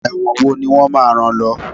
ẹwọ́n wò ni wón má rán lo